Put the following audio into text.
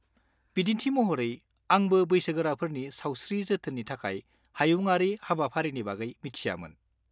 बिदिन्थि महरै, आंबो बैसोगोराफोरनि सावस्रि जोथोननि थाखाय हायुंआरि हाबाफारिनि बागै मिथियामोन।